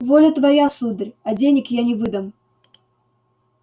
воля твоя сударь а денег я не выдам